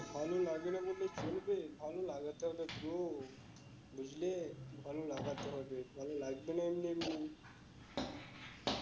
ভালো লাগে না বললে চলবে ভালো লাগাতে হবে তো বুঝলে ভালো লাগাতে হবে, ভালো লাগবে না এমনি এমনি